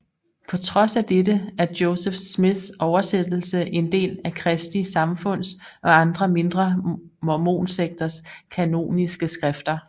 På trods af dette er Joseph Smiths oversættelse en del af Kristi Samfunds og andre mindre mormonsekters kanoniske skrifter